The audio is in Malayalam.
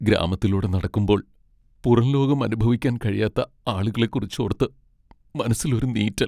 ഗ്രാമത്തിലൂടെ നടക്കുമ്പോൾ പുറംലോകം അനുഭവിക്കാൻ കഴിയാത്ത ആളുകളെക്കുറിച്ചോർത്ത് മനസ്സിലൊരു നീറ്റൽ.